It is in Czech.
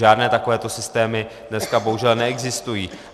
Žádné takovéto systémy dneska bohužel neexistují.